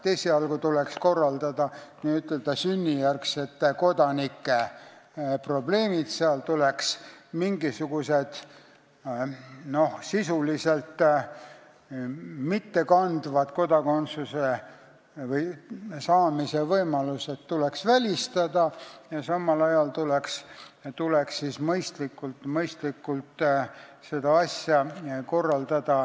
Esialgu tuleks korraldada sünnijärgsete kodanike probleeme, mingisugused sisuliselt mittekandvad kodakondsuse saamise võimalused välistada, ja siis hakata seda asja mõistlikult korraldama teiste puhul.